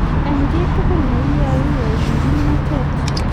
eng kiy tugul ne iyae iyai eng kimnatet